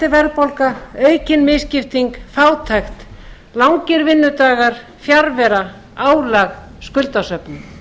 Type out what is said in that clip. verðbólga aukin misskipting fátækt langir vinnudagar fjarvera álag skuldasöfnun